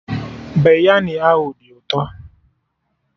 Biryani ahụ dị ụtọ